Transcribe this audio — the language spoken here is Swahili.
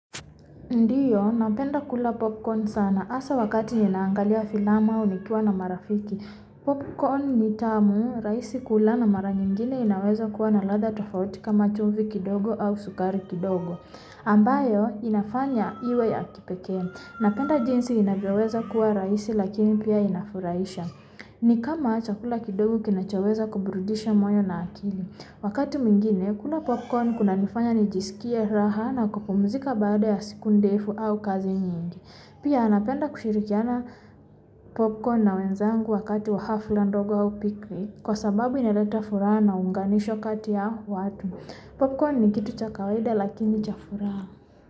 Ndiyo, napenda kula popcorn sana. Hasa wakati ninaangalia filamu au nikiwa na marafiki. Popcorn ni tamu, rahisi kula na mara nyingine inaweza kuwa na ladha tofauti kama chumvi kidogo au sukari kidogo. Ambayo, inafanya iwe ya kipekee. Napenda jinsi inavyoweza kuwa rahisi lakini pia inafurahisha. Ni kama chakula kidogo kinachoweza kuburudisha moyo na akili. Wakati mwingine, kula popcorn kunanifanya nijisikie raha na kupumuzika baada ya siku ndefu au kazi nyingi. Pia napenda kushirikiana popcorn na wenzangu wakati wa hafla ndogo au picnic kwa sababu inaleta furaha na uunganisho kati ya watu. Popcorn ni kitu cha kawaida lakini cha furaha.